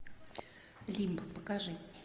лимб покажи